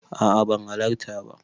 A'a ban halarta ba.